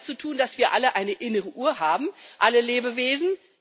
Das hat damit zu tun, dass wir alle eine innere Uhr haben, alle Lebewesen